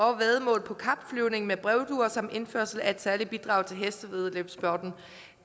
og væddemål på kapflyvning med brevduer samt indførelse af et særligt bidrag til hestevæddeløbssporten